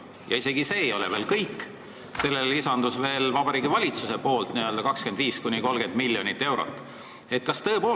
Ja isegi see ei ole veel kõik: sellele lisandus 25–30 miljonit eurot Vabariigi Valitsuselt.